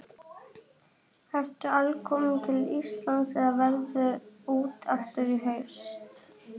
Ertu alkominn til Íslands eða ferðu út aftur í haust?